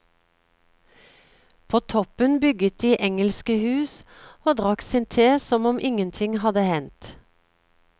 På toppen bygget de engelske hus og drakk sin te som om ingenting hadde hendt.